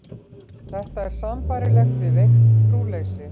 Þetta er sambærilegt við veikt trúleysi.